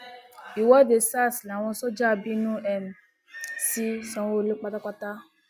ìwọde sars l àwọn sójà bínú um sí sanwóolú pátápátá